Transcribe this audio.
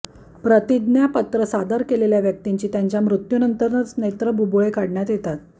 प्रतिज्ञापत्र सादर केलेल्या व्यक्तिंची त्यांच्या मृत्यूनंतरच नेत्रबुबुळे काढण्यात येतात